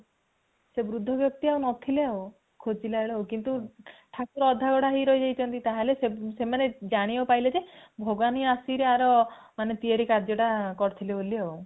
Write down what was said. ସେ ବୃଦ୍ଧ ଵ୍ୟକ୍ତି ଆଉ ନ ଥିଲେ ଆଉ ଖୋଜିଲାବେଳକୁ ଆଉ, କିନ୍ତୁ ଠାକୁର ଅଧା ଗଢା ହେଇକି ରହି ଯାଇଛନ୍ତି | ତାହେଲେ ସେମାନେ ଜାଣିବାକୁ ପାଇଲେ ଜେ ଭଗବାନ ହିଁ ଆସିକି ୟାର ତିଆରି କାର୍ଯ୍ୟ ଟା କରିଥିଲେ ବୋଲି ଆଉ